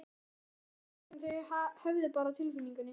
Þetta var eitthvað sem þau höfðu bara á tilfinningunni.